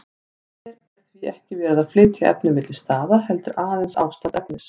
Hér er því ekki verið að flytja efni milli staða, heldur aðeins ástand efnis.